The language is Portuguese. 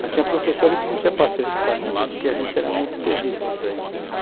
Mas tinha professores que não tinham paciência com a gente, porque a gente era muito terrível.